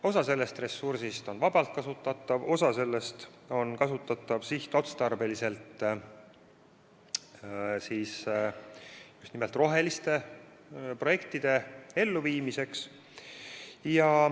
Osa sellest ressursist on vabalt kasutatav, osa sellest on kasutatav sihtotstarbeliselt just nimelt roheliste projektide elluviimiseks.